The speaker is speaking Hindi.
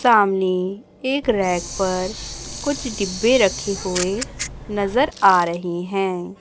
सामने एक रैक पर कुछ डिब्बे रखे हुए नजर आ रहीं हैं।